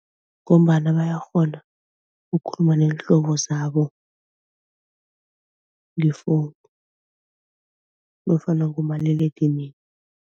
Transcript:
Ngombana bayakghona ukukhuluma neenhlobo zabo nge-phone nofana ngomaliledinini.